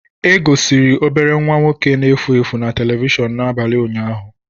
E gosiri obere nwa nwoke na-efu efu na telivishọn n'abalị ụnyaahụ.